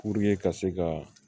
Puruke ka se ka